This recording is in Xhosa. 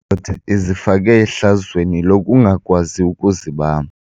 ndoda izifake ehlazweni lokungakwazi ukuzibamba.